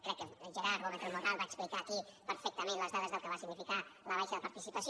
crec que gerard gómez del moral va explicar aquí perfectament les dades del que va significar la baixa participació